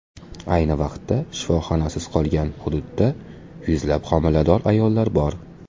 Ayni vaqtda shifoxonasiz qolgan hududda yuzlab homilador ayollar bor.